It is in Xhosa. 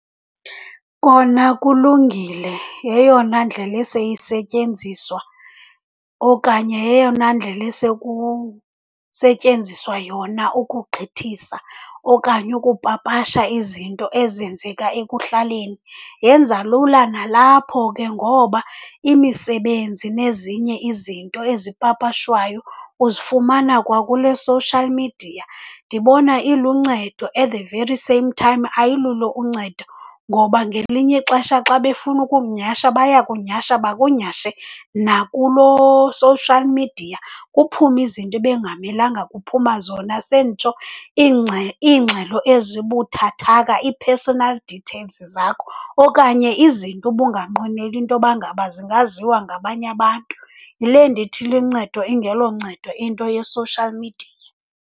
Kona kulungile, yeyona ndlela eseyisetyenziswa okanye yeyona ndlela esekusetyenziswa yona ukugqithisa okanye ukupapasha izinto ezenzeka ekuhlaleni. Yenza lula nalapho ke ngoba imisebenzi nezinye izinto ezipapashwayo uzifumana kwakule social media. Ndibona iluncedo, at the very same time ayilulo uncedo, ngoba ngelinye ixesha xa befuna ukukunyhasha bayakunyhasha bakunyhashe nakuloo social media. Kuphume izinto ebekungamelanga kuphuma zona, senditsho iingxelo ezibuthathaka, ii-personal details zakho, okanye izinto ubunganqweneli intoba ngaba zingaziwa ngabanye abantu. Yile ndithi lincedo ingeloncedo into ye-social media.